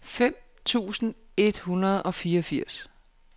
fem tusind et hundrede og fireogfirs